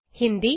Hindi